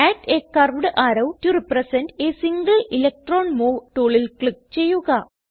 add a curved arrow to represent a single electron move ടൂളിൽ click ചെയ്യുക